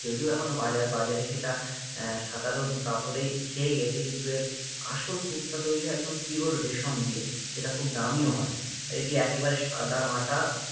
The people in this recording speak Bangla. যদিও এখনও বাজার বাজারে সেটা আহ সাধারণ কাপড়েই ছেয়ে গিয়েছে কিন্তু এর আসল কুর্তা তৈরী হয় একদম Pure রেশম দিয়ে যেটা খুব দামিও হয়, আর এটি একেবারে সাদামাটা